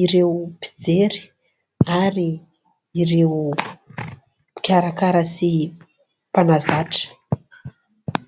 ireo mpijery ary ireo mpikarakara sy mpanazatra.